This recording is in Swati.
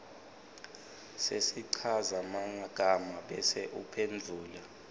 sesichazamagama bese uphendvula